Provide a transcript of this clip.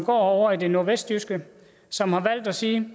ovre i det nordvestjyske som har valgt at sige